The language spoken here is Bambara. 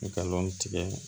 I ka lɔn tigɛ